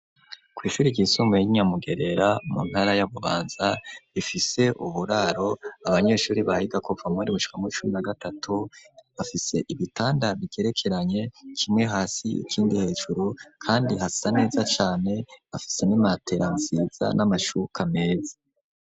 Kw'ishure ryisumbuye y'i Nyamugerera mu ntara ya Bubanza ifise uburaro, abanyeshuri bahiga kuva mu windwi gushika muw'icumi na gatatu, bafise ibitanda bigerekeranye kimwe hasi ikindi hejuru, kandi hasa neza cane bafise n'imatera nziza n'amashuka meza.